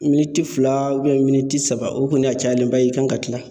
Miniti fila miniti saba, o kɔni a cayalenba, i kan ka tila.